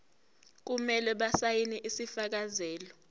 kumele basayine isifakazelo